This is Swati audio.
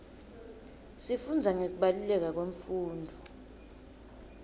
sifundza ngekubaluleka kwemfundvo